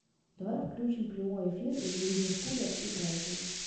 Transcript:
давай включим прямой эфир ливерпуля и брайтона